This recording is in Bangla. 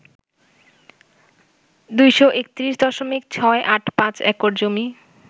২৩১.৬৮৫ একর জমি